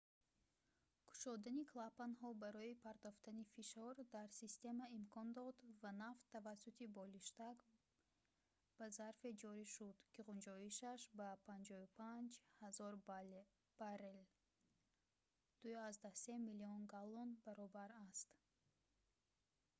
кушодани клапанҳо барои партофтани фишор дар система имкон дод ва нафт тавассути болиштак ба зарфе ҷорӣ шуд ки ғунҷоишаш ба 55 000 баррел 2,3 миллион галлон баробар аст